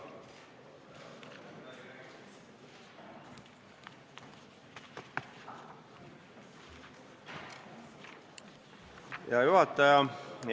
Hea juhataja!